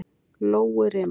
Lóurima